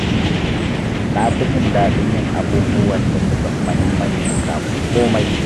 Na fi jin dadn yin abubuwan da suka fi muhimmanci kafin komai.